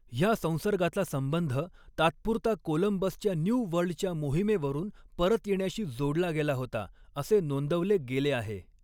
ह्या संसर्गाचा संबंध तात्पुरता कोलंबसच्या न्यू वर्ल्डच्या मोहिमेवरून परत येण्याशी जोडला गेला होता असे नोंदवले गेले आहे.